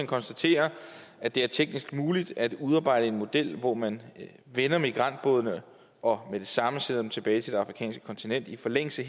konstaterer at det er teknisk muligt at udarbejde en model hvor man vender migrantbådene og med det samme sender dem tilbage til det afrikanske kontinent i forlængelse